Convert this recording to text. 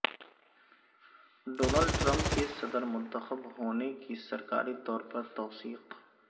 Donald Trump کے صدر منتخب ہونے کی سرکاری طور پر توثیق